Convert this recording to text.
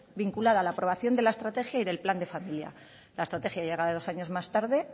vinculada a la aprobación de la estrategia y del plan de familia la estrategia llega dos años más tarde